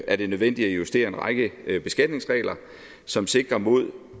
er det nødvendigt at justere en række beskatningsregler som sikrer imod